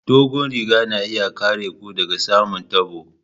Dogon riga na iya kare ku daga samun tabo.